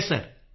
yes sir